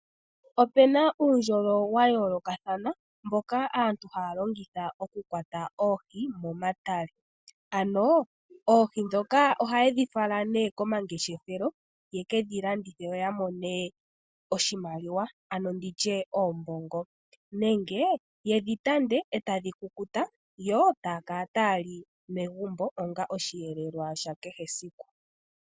Opuna uundjolo wa yoolokathana mboka aantu haya longitha okukwata oohi momatale, ano oohi ndhoka ohayedhi fala nee komangeshefelo yekedhi landithe yo ya mone oshimaliwa ano nditye oombongo nenge yedhi tande etadhi kukuta yo taya kala taya li megumbo onga osheelelwa shakehe esiku.